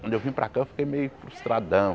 Quando eu vim para cá eu fiquei meio frustradão.